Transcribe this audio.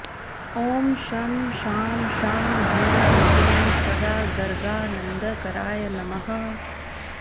ॐ शं शां षं ह्रीं क्लीं सदा गर्गानन्दकराय नमः